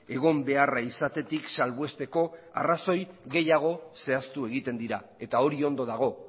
egon beharra izatetik salbuesteko arrazoi gehiago zehaztu egiten dira eta hori ondo dago